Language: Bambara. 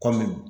Kɔmi